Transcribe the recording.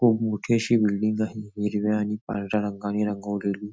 खूप मोठी अशी बिल्डिंग आहे हिरव्या आणि पांढऱ्या रंगानि रंगवलेली.